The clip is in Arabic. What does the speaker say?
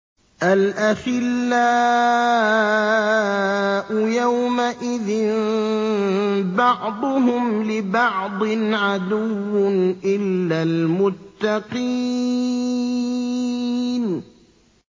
الْأَخِلَّاءُ يَوْمَئِذٍ بَعْضُهُمْ لِبَعْضٍ عَدُوٌّ إِلَّا الْمُتَّقِينَ